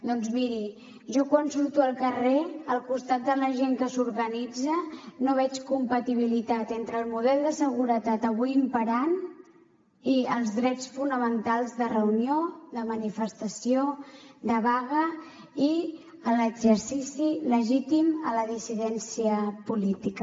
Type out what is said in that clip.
doncs miri jo quan surto al carrer al costat de la gent que s’organitza no veig compatibilitat entre el model de seguretat avui imperant i els drets fonamentals de reunió de manifestació de vaga i l’exercici legítim a la dissidència política